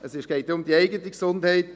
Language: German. Es geht um die eigene Gesundheit.